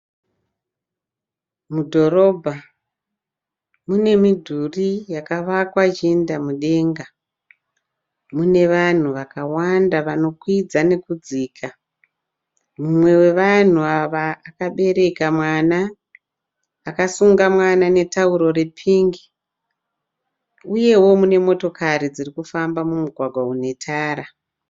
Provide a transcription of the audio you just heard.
Mudhorobha munemidhuri yakavakwa ichiinda mudenga. Munevanhu vakawanda vanokwidza nekudzika. Mumwe wevanhu ava akabereka mwana, akasunga mwana netauro repingi uyewo mune motokari dzirikufamba mumugwagwa unetara.